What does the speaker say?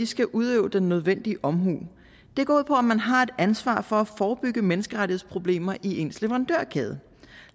skal udøve den nødvendige omhu det går ud på at man har ansvar for at forebygge menneskerettighedsproblemer i ens leverandørkæde